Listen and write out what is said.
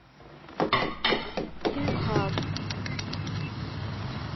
инкар